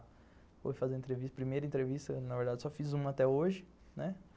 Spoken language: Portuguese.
Fui fazer a primeira entrevista, na verdade, só fiz uma até hoje, né?